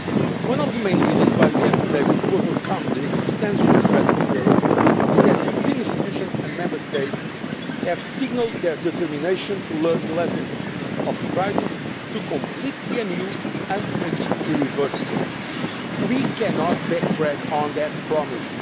Union. One of the main reasons why we have been able to overcome the existential threat to the euro is that the European institutions and Member States have signalled their determination to learn the lessons of the crisis, to complete the EMU, and to make it irreversible. We cannot backtrack on that